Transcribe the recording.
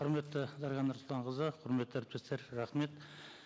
құрметті дариға нұрсұлтанқызы құрметті әріптестер рахмет